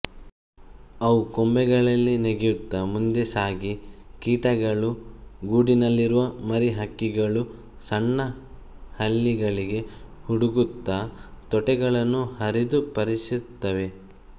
ಅವು ಕೊಂಬೆಗಳಲ್ಲಿ ನೆಗೆಯುತ್ತಾ ಮುಂದೆ ಸಾಗಿ ಕೀಟಗಳು ಗೂಡಿನಲ್ಲಿರುವ ಮರಿಹಕ್ಕಿಗಳು ಸಣ್ಣ ಹಲ್ಲಿಗಳಿಗೆ ಹುಡುಕುತ್ತಾ ತೊಗಟೆಗಳನ್ನು ಹರಿದು ಪರೀಕ್ಷಿಸುತ್ತವೆ